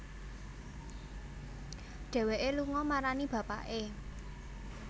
Dhéwéké lunga marani bapaké